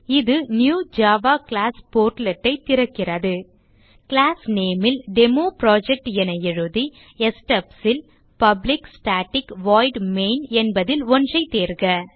இது new Java class Portlet ஐ திறக்கிறது கிளாஸ் name ல் டெமோபுரோகிராம் என எழுதி stubs ல் பப்ளிக் staticவாய்ட் மெயின் என்பதில் ஒன்றை தேர்க